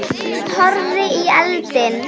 Hún horfði í eldinn.